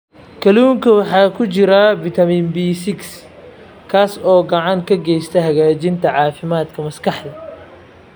Kalluunka waxaa ku jira fitamiin B6 kaas oo gacan ka geysta hagaajinta caafimaadka maskaxda.